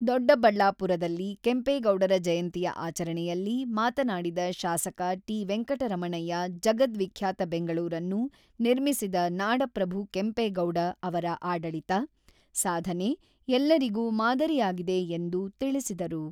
ದೊಡ್ಡಬಳ್ಳಾಪುರದಲ್ಲಿ ಕೆಂಪೇಗೌಡರ ಜಯಂತಿಯ ಆಚರಣೆಯಲ್ಲಿ ಮಾತನಾಡಿದ ಶಾಸಕ ಟಿ.ವೆಂಕಟರಮಣಯ್ಯ ಜಗದ್ವಿಖ್ಯಾತ ಬೆಂಗಳೂರನ್ನು ನಿರ್ಮಿಸಿದ ನಾಡಪ್ರಭು ಕೆಂಪೇಗೌಡ ಅವರ ಆಡಳಿತ, ಸಾಧನೆ ಎಲ್ಲರಿಗೂ ಮಾದರಿಯಾಗಿದೆ ಎಂದು ತಿಳಿಸಿದರು.